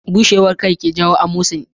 Bushewar kai ke jawo amosani